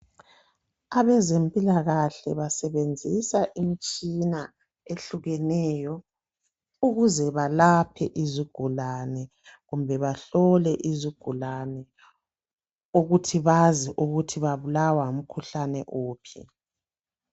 abezempilakahle basebenzisa imitshina ehlukeneyo ukuze balaphe izigulane kumbe bahlole izigulane ukuthi bazi ukuthi babulawa ngumkhuhlane uphi